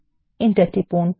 enter টিপুন